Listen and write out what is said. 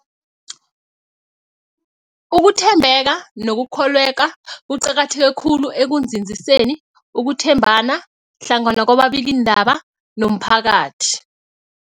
Ukuthembeka nokukholweka kuqakatheke khulu ekunzinziseni ukuthembana hlangana kwababikiindaba nomphakathi.